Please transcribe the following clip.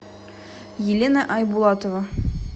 елена айбулатова